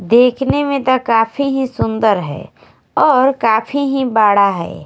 देखने में तो काफी ही सुंदर है और काफी ही बड़ा है।